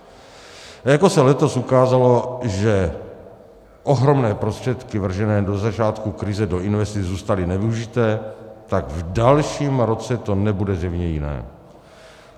Jako se letos ukázalo, že ohromné prostředky vržené do začátku krize do investic zůstaly nevyužité, tak v dalším roce to nebude zřejmě jiné.